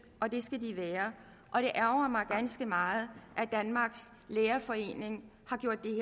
og det skal de være og det ærgrer mig ganske meget at danmarks lærerforening